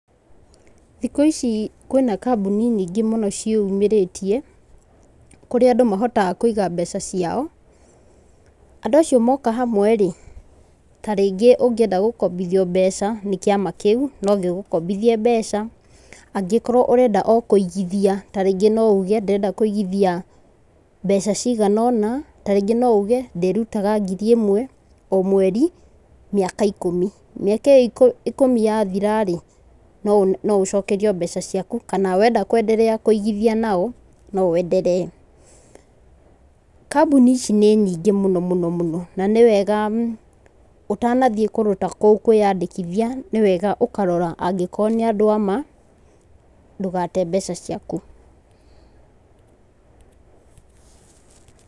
Thikũ ici kwĩ na kambuni nyingĩ mũno cĩyumĩrĩtie kũrĩa andũ mahotaga kũiga mbeca ciao. Andũ acio moka hamwe rĩ ta rĩngĩ ũngĩenda gũkombithio mbeca nĩ kĩama kĩu no gĩgũkombithie mbeca, angikorwo ũrenda o kũigithia ta ringĩ no uge ndĩrenda kũigithia mbeca ciagana ũna, ta ringĩ no ũge ndĩrutaga ngiri ĩmwe o mweri mĩaka ikũmi. Mĩaka ĩ yo ikũmi ya thira rĩ, no ũcokerio mbeca ciaku kana wenda kũigithia na ombeca ciaku kana wenda kũ endelea kũigithia na o, no ũ endelee. Kambuni ici nĩ nyingĩ mũno mũno na nĩ wega ũtanathiĩ kũndũ ta kũu kwĩnyandĩkithia nĩ wega ũkarora angĩkorwo nĩ andũ amaa, ndũgate mbeca ciaku.